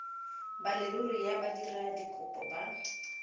ba leruri ya badiradikopo ba